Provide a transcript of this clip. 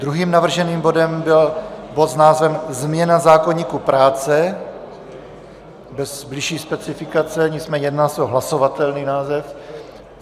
Druhým navrženým bodem byl bod s názvem změna zákoníku práce, bez bližší specifikace, nicméně jedná se o hlasovatelný název.